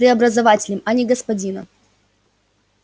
преобразователем а не господином